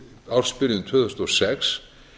ársbyrjun tvö þúsund og sex